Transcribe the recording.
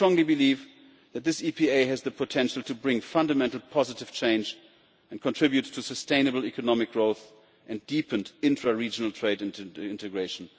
I strongly believe that this EPA has the potential to bring fundamental positive change and contribute to sustainable economic growth and deepened intra regional trade integration.